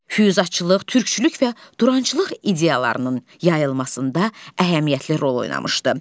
Fyuzatçılıq, türkçülük və durançılıq ideyalarının yayılmasında əhəmiyyətli rol oynamışdı.